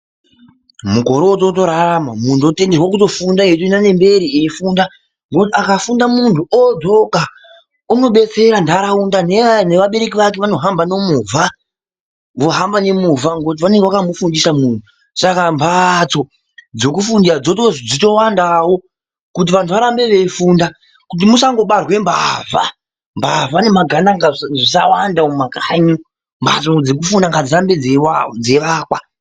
Mukore uno wotorarama munhu ototenderwe kutofunda eitoenda nemberi eifunda ,nekuti akafunda munhu oodzoka unobetsera nharaunda nevabereki vake vanohamba nemovha ,vohamba ngemovha ngekuti vanenge vakamufundisa munhu saka mhatso dzekufundira dzotozwi dzitowandawo kuti vanhu varambe veifunda kuti musangobarwe mbavha ,mbavha nemagandanga zvisawanda mumakanyi ,mhatso dzekufundira ngadzirambe dzeiwakwa.